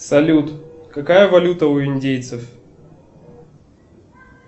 салют какая валюта у индейцев